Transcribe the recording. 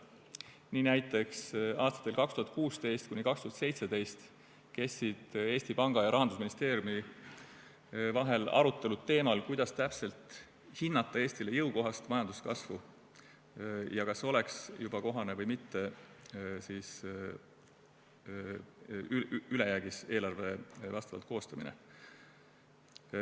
Nii näiteks kestsid aastatel 2016–2017 Eesti Panga ja Rahandusministeeriumi vahel arutelud teemal, kuidas täpselt hinnata Eestile jõukohast majanduskasvu ja kas oleks juba kohane või mitte ülejäägis eelarve koostamine.